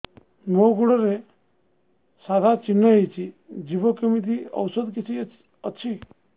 ମୋ ଗୁଡ଼ରେ ସାଧା ଚିହ୍ନ ହେଇଚି ଯିବ କେମିତି ଔଷଧ କିଛି ଅଛି